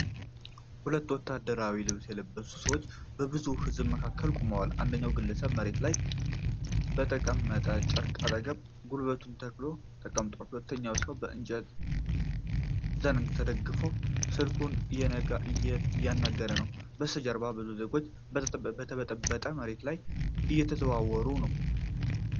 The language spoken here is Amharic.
ሁለት ወታደራዊ ልብስ የለበሱ ሰዎች በብዙ ሕዝብ መካከል ቆመዋል። አንደኛው ግለሰብ መሬት ላይ በተቀመጠ ጨርቅ አጠገብ ጉልበቱን ተክሎ ተቀምጧል። ሁለተኛው ሰው በእንጨት ዘንግ ተደግፎ ስልኩን እያናገረ ነው። በስተጀርባ ብዙ ዜጎች በተበጠበጠ መሬት ላይ እየተዘዋወሩ ነው።